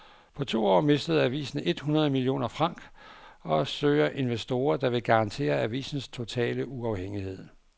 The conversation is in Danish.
På to år mistede avisen et hundrede millioner franc og søger investorer, der vil garantere avisens totale uafhængighed.